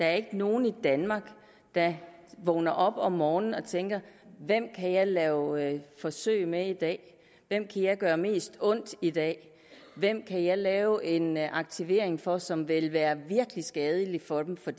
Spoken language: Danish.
er ikke nogen i danmark der vågner op om morgenen og tænker hvem kan jeg lave forsøg med i dag hvem kan jeg gøre mest ondt i dag hvem kan jeg lave en aktivering for som vil være virkelig skadelig for dem for